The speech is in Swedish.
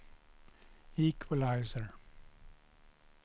equalizer